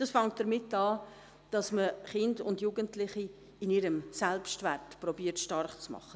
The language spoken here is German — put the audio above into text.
Es fängt damit an, dass man Kinder und Jugendliche in ihrem Selbstwert zu stärken versucht.